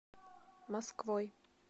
москвой